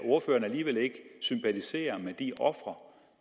ordføreren alligevel ikke sympatisere med de ofre